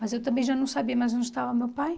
Mas eu também já não sabia mais onde estava meu pai.